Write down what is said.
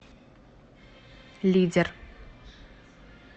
лидер